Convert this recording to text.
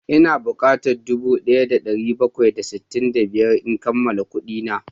Ina bukatan dubu daya da dari bakwai da sittin da biyar in kammala kudina